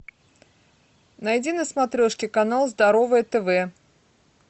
найди на смотрешке канал здоровое тв